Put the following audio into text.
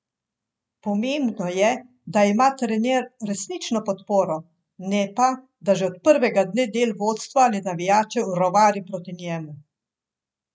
Pomembno je, da ima trener resnično podporo, ne pa, da že od prvega dne del vodstva ali navijačev rovari proti njemu.